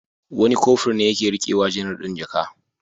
Wani Kofur ne ya ke riƙe wa janar ɗin jaka.